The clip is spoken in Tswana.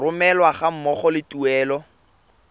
romelwa ga mmogo le tuelo